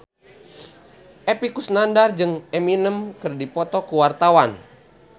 Epy Kusnandar jeung Eminem keur dipoto ku wartawan